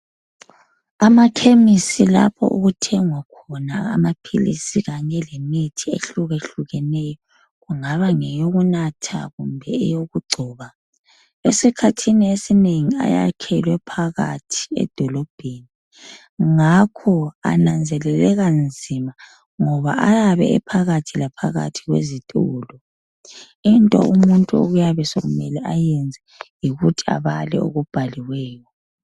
Amakhemisi lapho okuthengwa amaphilisi Kanye lemithi ehlukehlukeneyo kungaba ngeyokunatha kumbe eyokugcoba esikhathini esinengi ayakhelwe phakathi edolobheni ngakho ananzeleleka nzima ngoba ayabe e phakathi laphakathi kwezitolo into umuntu okuyabe sekumele ayenze yikuthi abale okubhaliweyo